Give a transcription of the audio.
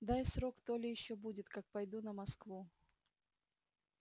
дай срок то ли ещё будет как пойду на москву